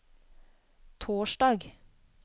torsdag